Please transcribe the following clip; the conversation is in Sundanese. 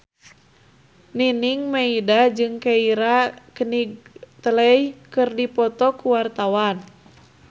Nining Meida jeung Keira Knightley keur dipoto ku wartawan